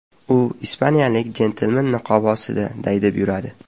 U ispaniyalik jentelmen niqobi ostida daydib yuradi.